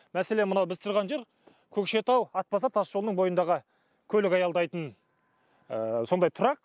мәселен мынау біз тұрған жер көкшетау атбасар тасжолының бойындағы көлік аялдайтын сондай тұрақ